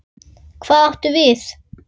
Hvað átum við?